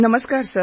નમસ્કાર સર